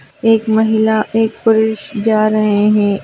एक महिला एक पुरुष जा रहे है।